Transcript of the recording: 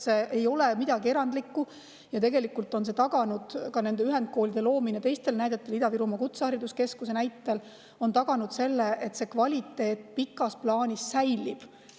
See ei ole midagi erandlikku ja tegelikult on see taganud, ühendkooli loomine ka teistel, näiteks Ida-Virumaa Kutsehariduskeskuse puhul, et kvaliteet pikas plaanis säilib.